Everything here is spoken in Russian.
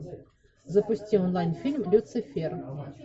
запусти онлайн фильм люцифер